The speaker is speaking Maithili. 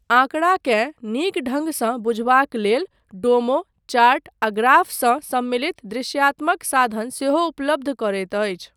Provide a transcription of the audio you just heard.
आँकड़ाकेँ नीक ढङ्गसँ बुझबाक लेल डोमो, चार्ट आ ग्राफ सँ सम्मिलित दृशयात्मक साधन सेहो उपलब्ध करैत अछि।